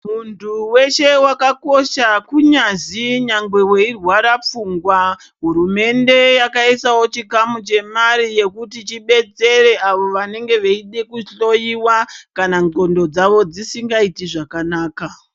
Muntu weshe wakakosha kunyazi nyangwe weirwara pfungwa hurumente yakaisawo chikamu chemari yokuti chidetsere avo vanenge veide kuhloiwa kana ndxondo dzavo dzisingaiti zvakanaka.